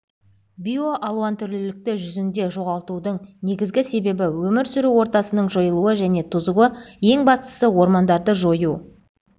биоалуантүрлілікті жүзінде жоғалтудың негізгі себебі өмір сүру ортасының жойылуы және тозуы ең бастысы ормандарды жою